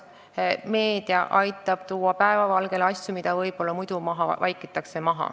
Meedia aitab tuua päevavalgele asju, mis muidu võib-olla maha vaikitaks.